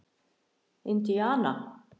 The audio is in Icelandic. Indíana